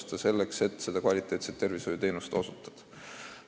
Ikka selleks, et kvaliteetset arstiabi osutada.